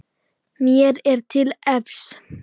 Mér er til efs.